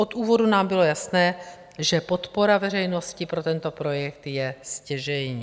Od úvodu nám bylo jasné, že podpora veřejnosti pro tento projekt je stěžejní.